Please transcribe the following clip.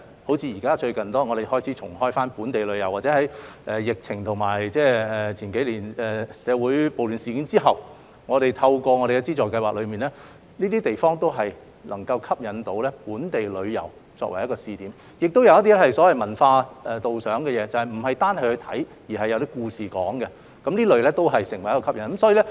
香港最近開始重啟本地旅遊，或在數年前的社會暴亂事件後，透過我們的資助計劃，這些地方均能成為吸引本地旅遊的試點，加上一些文化導賞活動，不單包含觀賞元素，亦有故事敍述，使這類景點成為吸引人的地方。